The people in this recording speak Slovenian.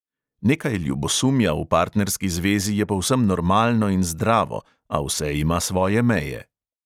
Nekaj ljubosumja v partnerski zvezi je povsem normalno in zdravo, a vse ima svoje meje.